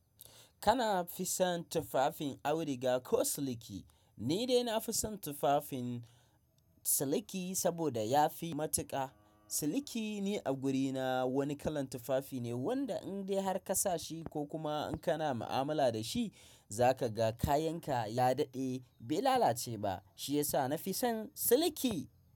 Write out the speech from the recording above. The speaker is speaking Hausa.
Kana fi son tufafin auduga ko siliki? Ni dai na fi son tufafin siliki saboda ya fi matuƙa. Siliki ne a gurina wani kalan tufafi ne wanda in dai har ka sa shi ko kuma in kana mu'amala da shi, za ka ga kayan ka ya dade bai lalace ba. Shiyasa na fi son siliki.